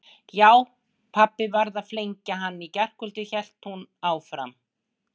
Já, pabbi varð að flengja hann í gærkvöldi hélt hún áfram.